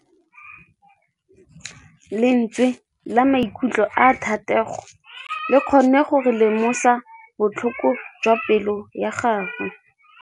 Lentswe la maikutlo a Thategô le kgonne gore re lemosa botlhoko jwa pelô ya gagwe.